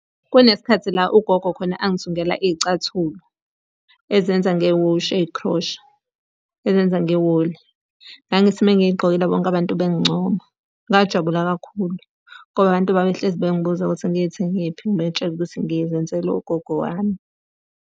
Kunesikhathi la ugogo khona angithungela iy'cathulo, ezenza ngewushi ey'khrosha, ezenza ngewuli. Ngangithi uma ngiy'gqokile bonke abantu bengincoma. Ngajabula kakhulu, ngoba abantu babehlezi bengibuza ukuthi ngithenge kephi ngibatshele ukuthi ngizenzelwe ugogo wami.